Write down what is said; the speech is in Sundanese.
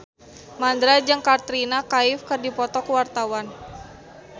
Mandra jeung Katrina Kaif keur dipoto ku wartawan